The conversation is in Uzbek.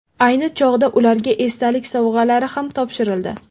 Ayni chog‘da ularga esdalik sovg‘alari ham topshirildi.